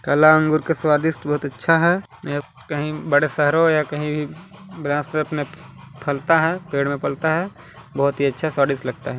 कला अंगूर का स्वादिष्ट बहुत अच्छा है यह कहीं बड़े शहरों या कहिं ब्रांच में पर अपने फलता है पेड़ में फलता है बहुत ही अच्छा स्वादिस्ट लगता हैं।